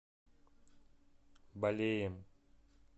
балеем